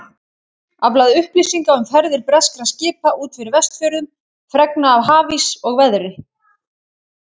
Aflað upplýsinga um ferðir breskra skipa út fyrir Vestfjörðum, fregna af hafís og veðri.